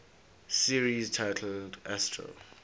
series titled astro